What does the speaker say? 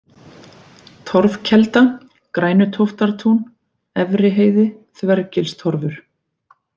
Torfkelda, Grænutóftartún, Efriheiði, Þvergilstorfur